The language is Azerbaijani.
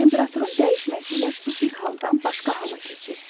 Temperaturun dəyişməsi ilə su bir haldan başqa hala keçir.